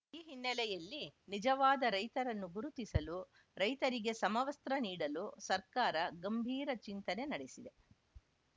ಈ ಹಿನ್ನೆಲೆಯಲ್ಲಿ ನಿಜವಾದ ರೈತರನ್ನು ಗುರುತಿಸಲು ರೈತರಿಗೆ ಸಮವಸ್ತ್ರ ನೀಡಲು ಸರ್ಕಾರ ಗಂಭೀರ ಚಿಂತನೆ ನಡೆಸಿದೆ